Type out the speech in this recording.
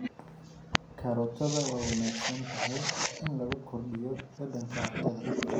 Karootada waa wanaagsan tahay in lagu kordhiyo dhadhanka cuntada.